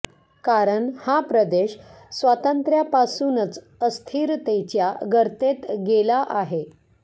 कारण हा प्रदेश स्वातंत्र्यापासूनच अस्थिरतेच्या गर्तेत गेला आहे